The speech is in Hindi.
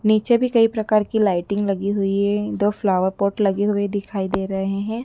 नीचे भी कई प्रकार की लाइटिंग लगी हुई है दो फ्लावर पॉट लगे हुए दिखाई दे रहे हैं।